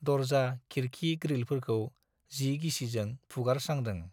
दर्जा, खिरखि ग्रीलफोरखौ जि गिसिजों फुगारस्रांदों।